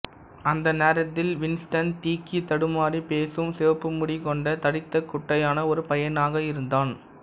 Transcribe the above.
அந்த நேரத்தில் வின்ஸ்டன் திக்கித் தடுமாறிப் பேசும் சிவப்பு முடி கொண்ட தடித்த குட்டையான ஒரு பையனாக இருந்தான்